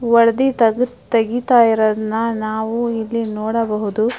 ತೆಗಿತಾಯಿರುವುದನ್ನ ನಾವು ಇಲ್ಲಿ ನೋಡಬಹುದು.